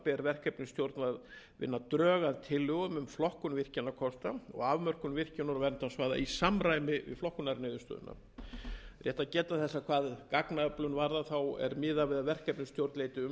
drög að tillögum um flokkun virkjunarkosta og afnám virkjunar og verndarsvæða í samræmi við flokkunarniðurstöðurnar það er rétt að geta þess að hvað gagnaöflun varðar er miðað við að verkefnisstjórn leiti umsagnar umhverfisstofnunar og